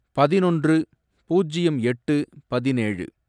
பதினொன்று, பூஜ்யம் எட்டு, பதினேழு